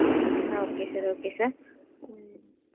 um okay sir okay sir um